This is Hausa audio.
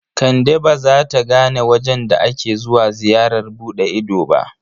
Kande ba za ta gane wajen da ake zuwa ziyarar buɗe ido ba.